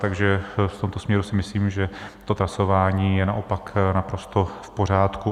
Takže v tomto směru si myslím, že to trasování je naopak naprosto v pořádku.